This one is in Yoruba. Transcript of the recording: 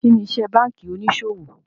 Kíni ìṣẹ bankí oníṣọwọ̀?